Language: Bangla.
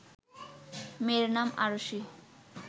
মেয়ের নাম আরশি